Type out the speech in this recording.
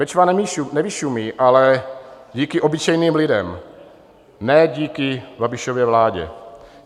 Bečva nevyšumí, ale díky obyčejným lidem, ne díky Babišově vládě.